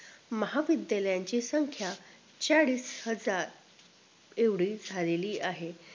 महाविद्यालयांची संख्या चाळीस हजार एव्हडी झालेली आहे